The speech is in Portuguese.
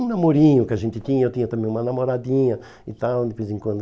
Um namorinho que a gente tinha, eu tinha também uma namoradinha e tal, de vez em quando.